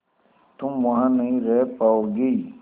तुम वहां नहीं रह पाओगी